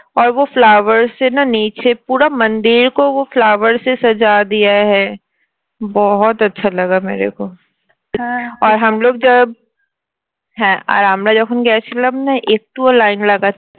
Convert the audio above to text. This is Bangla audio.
flower flower line